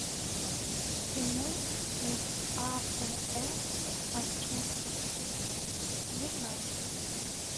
прямой эфир апл манчестер сити с юнайтед